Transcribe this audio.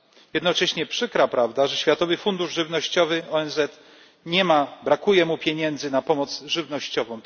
Jednocześnie przykra prawda, że w Światowym Funduszu Żywnościowym ONZ brakuje pieniędzy na pomoc żywnościową.